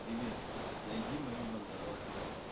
привет найди мою бандероль